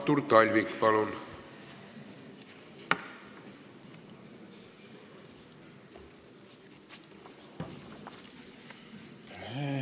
Artur Talvik, palun!